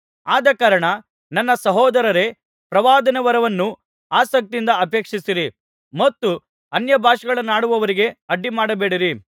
ಆದಕಾರಣ ನನ್ನ ಸಹೋದರರೇ ಪ್ರವಾದನಾವರವನ್ನು ಆಸಕ್ತಿಯಿಂದ ಅಪೇಕ್ಷಿಸಿರಿ ಮತ್ತು ಅನ್ಯಭಾಷೆಗಳನ್ನಾಡುವವರಿಗೆ ಅಡ್ಡಿಮಾಡಬೇಡಿರಿ